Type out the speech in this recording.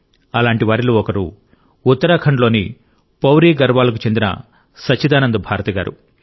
అలాంటివారిలో ఒకరు ఉత్తరాఖండ్లోని పౌడి గఢ్వాల్ కు చెందిన సచ్చిదానంద్ భారతి గారు